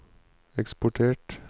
eksportert